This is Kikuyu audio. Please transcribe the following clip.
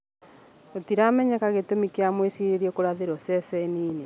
Gũtiramenyeka gĩtũmi kia mũĩcirĩrio kũrathĩrwo ceceni-inĩ